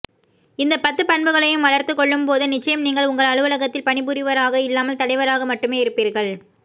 இந்தப் பத்து பண்புகளையும் வளர்த்துக்கொள்ளும்போது நிச்சயம் நீங்கள் உங்கள் அலுவலகத்தில் பணிபுரிபவராக இல்லாமல் தலைவராக மட்டுமே இருப்பீர்கள்